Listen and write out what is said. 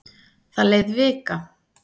Það leið vika.